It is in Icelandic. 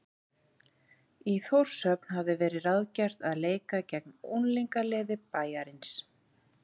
Í Þórshöfn hafði verið ráðgert að leika gegn unglingaliði bæjarins.